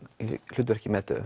hlutverki